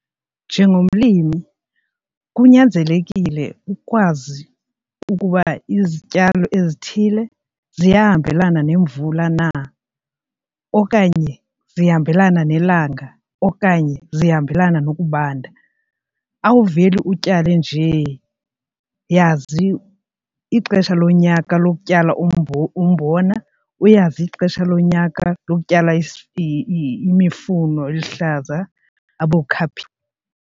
Njengomlimi kunyanzelekile ukwazi ukuba izityalo ezithile ziyahambelana nemvula na okanye zihambelana nelanga okanye zihambelana nokubanda. Awuveli utyale njee. Yazi ixesha lonyaka lokutyala umbona, uyazi ixesha lonyaka lokutyala imifuno eluhlaza .